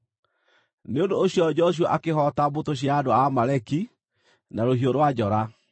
Nĩ ũndũ ũcio Joshua akĩhoota mbũtũ cia andũ a Amaleki na rũhiũ rwa njora.